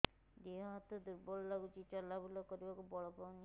ଦେହ ହାତ ଦୁର୍ବଳ ଲାଗୁଛି ଚଲାବୁଲା କରିବାକୁ ବଳ ପାଉନି